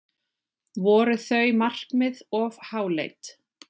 Voru þau markmið of háleit?